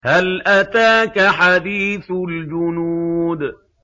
هَلْ أَتَاكَ حَدِيثُ الْجُنُودِ